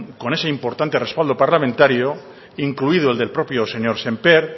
con ese importante respaldo parlamentario incluido el del propio señor sémper